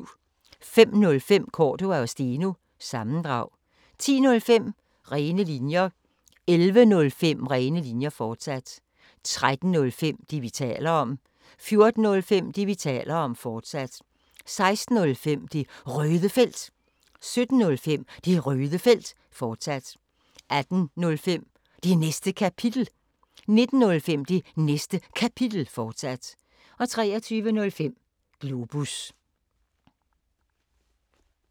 05:05: Cordua & Steno – sammendrag 10:05: Rene Linjer 11:05: Rene Linjer, fortsat 13:05: Det, vi taler om 14:05: Det, vi taler om, fortsat 16:05: Det Røde Felt 17:05: Det Røde Felt, fortsat 18:05: Det Næste Kapitel 19:05: Det Næste Kapitel, fortsat 23:05: Globus